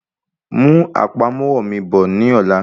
Mú àpamọ́wọ́ mi bọ̀ ní ọ̀la.